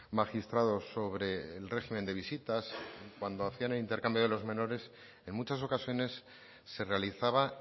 magistrados sobre el régimen de visitas cuando hacían el intercambio de los menores en muchas ocasiones se realizaba